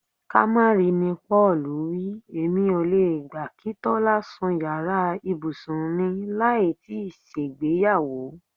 Ká má ri ni Pó̩ò̩lù wí. Èmi ò le gbà kí Tó̩lá sun yàrà ibùsùn mi láì tíì s̩ègbéyàwó.